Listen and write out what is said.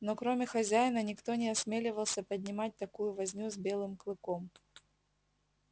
но кроме хозяина никто не осмеливался поднимать такую возню с белым клыком